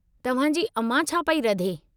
तव्हां जी अमां छा पई रधे?